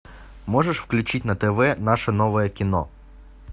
можешь включить на тв наше новое кино